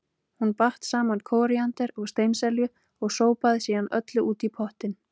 Hún batt saman kóríander og steinselju og sópaði síðan öllu út í pottinn.